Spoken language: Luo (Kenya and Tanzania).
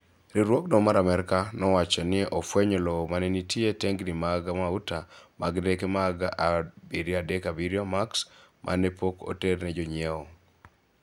Riwruogno mar Amerka nowacho ni ofwenyo lowo mane ntie e tengni mag mauta mag ndeke mag 737 Max mane pok oter ne jonyiew.